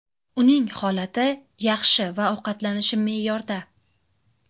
Uning holati yaxshi va ovqatlanishi me’yorda.